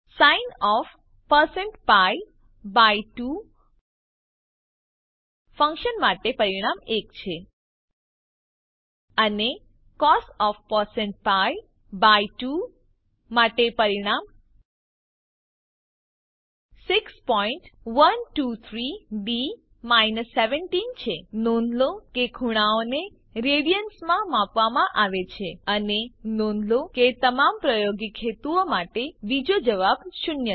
sin of percent pi by 2 function માટે પરિણામ 1 છે અને cos of percent pi by 2 માટે પરિણામ 6123ડી 17 છે નોંધ લો કે ખૂણાઓને રેડીયનમાં માપવામાં આવે છે અને નોંધ લો કે તમામ પ્રાયોગિક હેતુઓ માટે બીજો જવાબ શૂન્ય છે